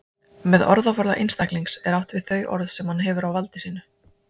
Með orðaforða einstaklings er átt við þau orð sem hann hefur á valdi sínu.